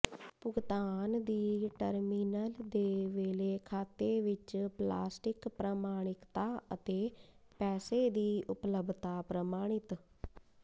ਭੁਗਤਾਨ ਦੀ ਟਰਮੀਨਲ ਦੇ ਵੇਲੇ ਖਾਤੇ ਵਿੱਚ ਪਲਾਸਟਿਕ ਪ੍ਰਮਾਣਿਕਤਾ ਅਤੇ ਪੈਸੇ ਦੀ ਉਪਲਬਧਤਾ ਪ੍ਰਮਾਣਿਤ